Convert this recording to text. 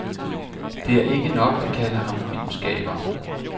Det er ikke nok at kalde ham filmskaber.